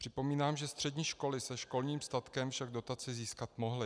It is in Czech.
Připomínám, že střední školy se školním statkem však dotaci získat mohly.